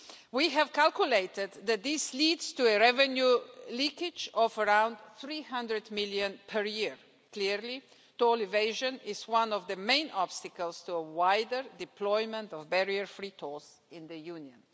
We have calculated that this leads to a revenue leakage of around EUR 300 million per year. Clearly, toll evasion is one of the main obstacles to a wider deployment of barrier free tolls in the Union.